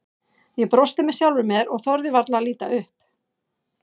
Ég brosti með sjálfri mér og þorði varla að líta upp.